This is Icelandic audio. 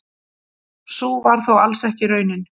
Sú var þó alls ekki raunin.